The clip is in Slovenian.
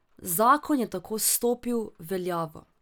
Zakon je tako stopil v veljavo.